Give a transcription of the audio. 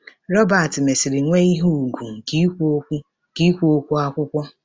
Robert mesịrị nwee ihe ùgwù nke ikwu okwu nke ikwu okwu akwụkwọ.